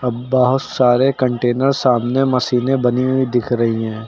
बहुत सारे कंटेनर सामने मसीनें बनी हुई दिख रही हैं।